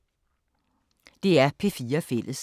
DR P4 Fælles